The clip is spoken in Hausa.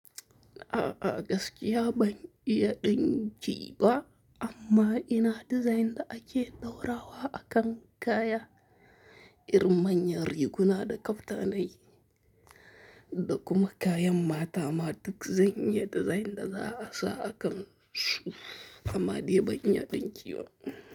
A'a gaskiya ban iya dinki ba amma ina dizayn da ake ɗora wa akan kaya, irin manyan riguna da kaftanai da kuma kayan mata ma duk zan iya dizayn da za'a sa a kansu amma de ban iya dinki ba.